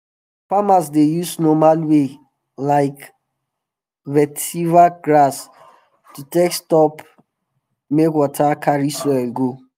farmers dey use normal way like vetiver grass to take stop make water carry soil go